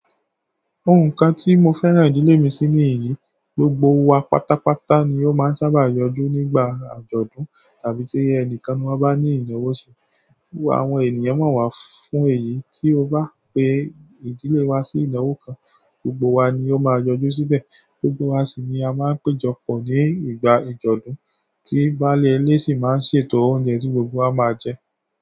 Ohun kan ti mo fẹ́ràn ìdílé mi sí ni èyí, gbogbo wa pátápátá ni a máa sábà yọjú nígbà àjọ̀dún àbí tí ẹnìkan máa bá ní ìnáwó ṣe. Àwọn ènìyàn mọ̀ wá fún èyí, tí ó bá pé ìdílé wa sí ìnáwó kan, gbogbo wa ni ó máa yọjú síbẹ̀. Gbogbo wa sì ni a máa péjọ pọ̀ nígbà ìjọdún, tí baálé ilé sì máa ń ṣètò oúnjẹ tí gbogbo wa máa jẹ.